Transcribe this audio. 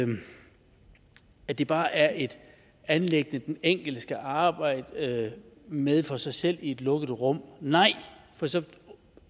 at det bare er et anliggende den enkelte skal arbejde med for sig selv i et lukket rum nej for så